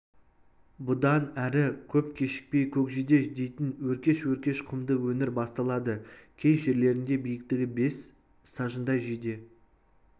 бұдан әрі көп кешікпей көкжиде дейтін өркеш-өркеш құмды өңір басталады кей жерлерінде биіктігі бес сажындай жиде